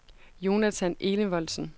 Jonathan Enevoldsen